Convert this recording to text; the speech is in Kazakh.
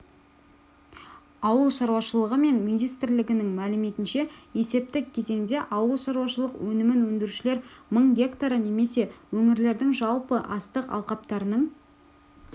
ауыл шаруашылығы министрлігінің мәліметінше есептік кезеңде ауылшаруашылық өнімін өндірушілер мың гектары немесе өңірлердің жалпы астық алқаптарының